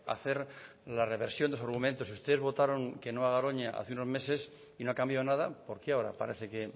hacer la reversión de sus argumentos ustedes votaron que no a garoña hace unos meses y no ha cambiado nada por qué ahora parece que